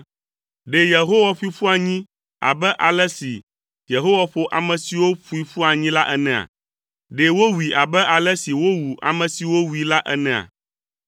Ɖe Yehowa ƒoe ƒu anyi abe ale si Yehowa ƒo ame siwo ƒoe ƒu anyi la enea? Ɖe wòwui abe ale si wowu ame siwo wui la enea?